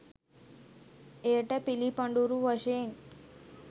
එයට පිළිපඬුරු වශයෙන්